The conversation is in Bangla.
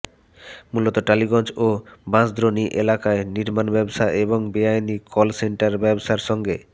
মূলত টালিগঞ্জ ও বাঁশদ্রোণীএলাকায় নির্মাণ ব্যবসা এবং বেআইনি কল সেন্টার ব্যবসার সঙ্গে